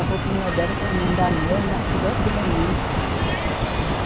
A roupinha dela, para não andar nua, andava coberta de remendo.